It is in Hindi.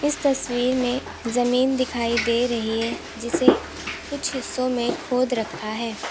इस तस्वीर में जमीन दिखाई दे रही है जिसे कुछ हिस्सों में खोद रखा है।